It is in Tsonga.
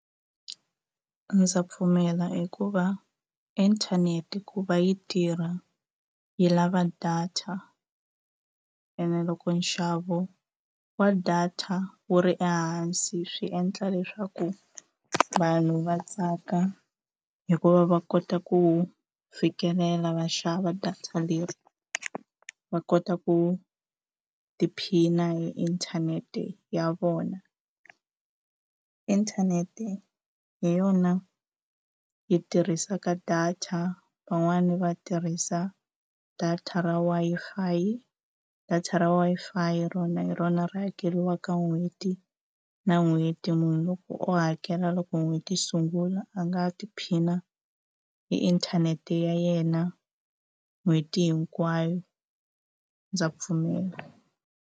Ndza pfumela hikuva inthanete ku va yi tirha yi lava data ene loko nxavo wa data wu ri ehansi swi endla leswaku vanhu va tsaka hikuva va kota ku fikelela va xava data leri va kota ku tiphina hi inthanete ya vona inthanete hi yona yi tirhisaka data van'wani va tirhisa data ra Wi-Fi data ra Wi-Fi rona hi rona ri hakeriwaka n'hweti na n'hweti munhu u hakela loko n'hweti yi sungula a nga tiphina hi inthanete ya yena n'hweti hinkwayo ndza pfumela.